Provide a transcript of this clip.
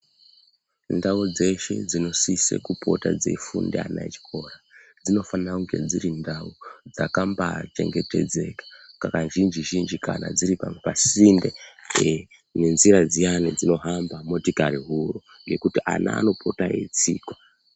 Ndau dzeshe dzinosise kupota dzeifunda ana echikora, dzinofanira kunge dziri ndau dzakambachengetedzeka kazhinji-zhinji kana dziri pasinde nenzira dziyana dzinohamba motikari huru ngekuti ana anopota eitsikwa.